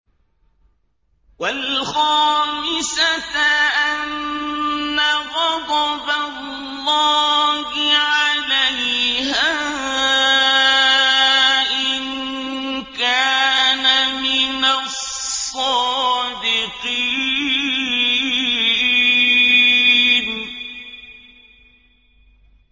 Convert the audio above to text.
وَالْخَامِسَةَ أَنَّ غَضَبَ اللَّهِ عَلَيْهَا إِن كَانَ مِنَ الصَّادِقِينَ